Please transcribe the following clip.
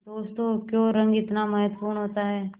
दोस्तों क्यों रंग इतना महत्वपूर्ण होता है